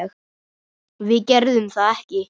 Við gerðum það ekki.